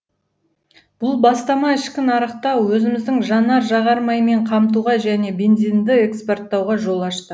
бұл бастама ішкі нарықты өзіміздің жанар жағармаймен қамтуға және бензинді экспорттауға жол ашты